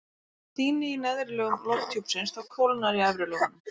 þótt hlýni í neðri lögum lofthjúpsins þá kólnar í efri lögunum